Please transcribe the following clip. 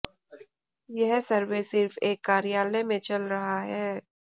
यह सर्वे सिर्फ एक कार्यालय में चल रहा है